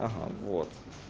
ага вот